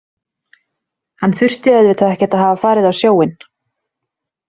Hann þurfti auðvitað ekkert að hafa farið á sjóinn.